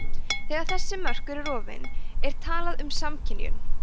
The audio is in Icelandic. þegar þessi mörk eru rofin er talað um samskynjun